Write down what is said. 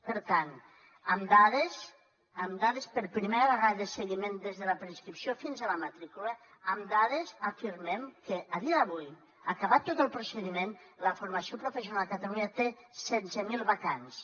per tant amb dades amb dades per primera vegada de seguiment des de la preinscripció fins a la matrícula amb dades afirmem que a dia d’avui acabat tot el procediment la formació professional a catalunya té setze mil vacants